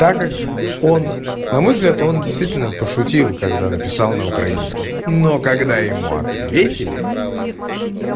так как он на мой взгляд он действительно пошутил когда написал на украинском но когда ему ответили